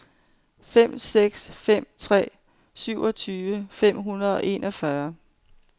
fem seks fem tre syvogtyve fem hundrede og enogfyrre